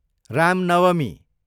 Ram Navami